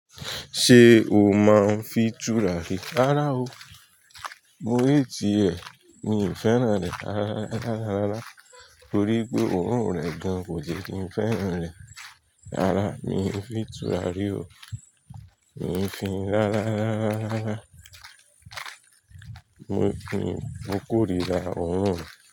Ṣé o máa ń fin tùràrí rara o. Mo hate ẹ. Mi ò fẹ́ràn rẹ̀. Rárá, rárá, rárá. Torí wipé òórùn rẹ̀ gan, kò jẹ́ kí n fẹ́ràn rẹ̀. Rárá, mi ò fi tùràrí o. Mi i fin, rárá, rárá, rárá. Mi i fin, mo kórira òórùn re.